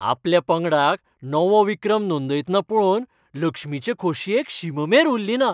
आपल्या पंगडाक नवो विक्रम नोंदयतना पळोवन लक्ष्मीचे खोशयेक शीममेर उरलीना.